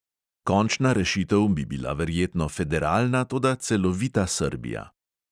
Končna rešitev bi bila verjetno federalna, toda celovita srbija.